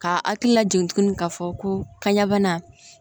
Ka hakililajigin tuguni k'a fɔ ko kaɲa bana